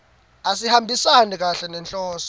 asihambisani kahle nenhloso